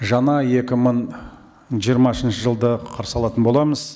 жаңа екі мың жиырмасыншы жылды қарсалатын боламыз